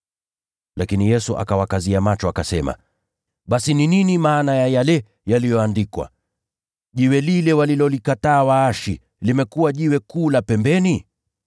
Lakini Yesu akawakazia macho, akasema, “Basi ni nini maana ya yale yaliyoandikwa: “ ‘Jiwe walilolikataa waashi, limekuwa jiwe kuu la pembeni’?